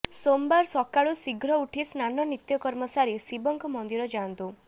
ସୋମବାର ସକାଳୁ ଶୀଘ୍ର ଉଠି ସ୍ନାନ ନିତ୍ୟକର୍ମ ସାରି ଶିବଙ୍କ ମନ୍ଦିର ଯାଆନ୍ତୁ